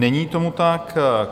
Není tomu tak.